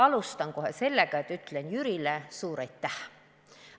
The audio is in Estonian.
Alustan kohe sellega, et ütlen Jürile suur aitäh!